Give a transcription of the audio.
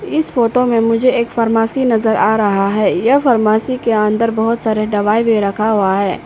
इस फोटो में मुझे एक फार्मेसी नजर आ रहा है यह फार्मेसी के अंदर बहुत सारे दवाई भी रखा हुआ है।